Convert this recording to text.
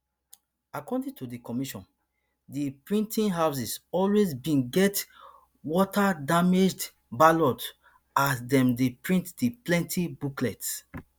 according to di commission di printing houses always bin get wastedamaged ballots as dem dey print di plenti booklets